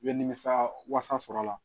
I bɛ nimisa wasa sɔrɔ a la